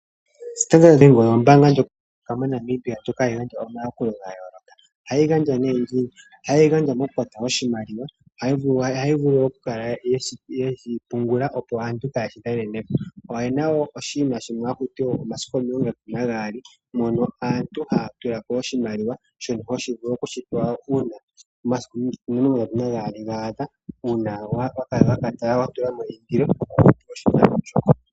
Standard oyo ombaanga ndjoka hayi adhika moNamibia ndjoka hayi gandja omayakulo ga yooloka. Ohayi gandja nee ngeyi: ohayi gandja moku oshimaliwa ohaya vulu okukala yeshi pungula opo aantu ,oyena woo oshinima shono hakutiwa omasiku omilongo ndatu nagaali mono aantu haya tulako oshimaliwa shono tovulu okushipewa uuna omasiku omilongondatu nagaali gaadha uuna watulamo eindilo .